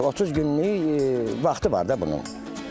30 günlük vaxtı var da bunun.